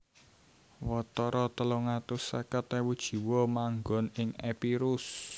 Watara telung atus seket ewu jiwa manggon ing Epirus